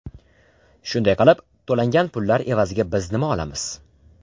Shunday qilib, to‘langan pullar evaziga biz nima olamiz?